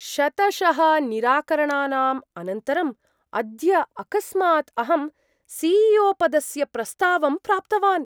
शतशः निराकरणानाम् अनन्तरम् अद्य अकस्मात् अहं सी.ई.ओ. पदस्य प्रस्तावं प्राप्तवान्।